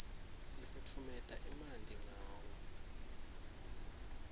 sifutfumeta emanti ngawo